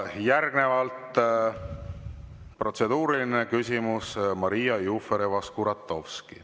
Järgnevalt protseduuriline küsimus, Maria Jufereva‑Skuratovski.